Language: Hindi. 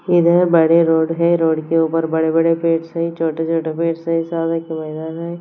इधर बड़े रोड है रोड के ऊपर बड़े बड़े पेड्स है छोटे छोटे पेड्स है शायद एक मैदान है।